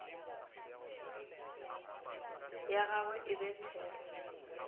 ya gagwe e be there